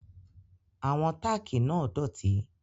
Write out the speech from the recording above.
Àwọn tákì náà dọ̀tí